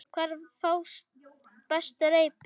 Hvar fást bestu reipin?